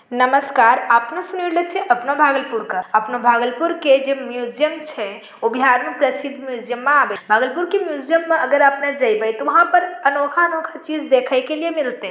नमस्कार अपनों सुने छे अपना भागलपुर कर आपने भागलपुर के जे म्यूजियम छे उ बिहार में प्रसिद्ध म्यूजियम मा आवे | भागलपुर के म्यूजियम मे अगर आपने जइबे ता उहा पर अनोखा अनोखा चीज़ देखे के लई मिलते |